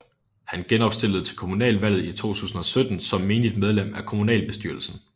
Han genopstillede til kommunalvalget i 2017 som menigt medlem af kommunalbestyrelsen